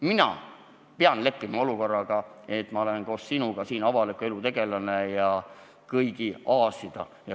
Mina pean leppima olukorraga, et ma olen koos sinuga avaliku elu tegelane ja kõigi aasida.